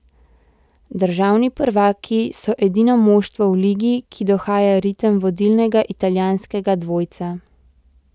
Državni prvaki so edino moštvo v ligi, ki dohaja ritem vodilnega italijanskega dvojca.